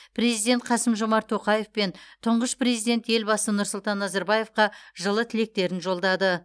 президент қасым жомарт тоқаев пен тұңғыш президент елбасы нұрсұлтан назарбаевқа жылы тілектерін жолдады